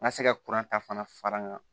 N ka se ka kuran ta fana fara n kan